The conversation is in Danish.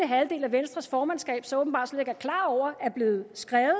halvdel af venstres formandskab så åbenbart slet ikke er klar over er blevet skrevet